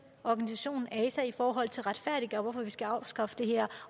organisation ase i forhold til at retfærdiggøre hvorfor vi skal afskaffe det her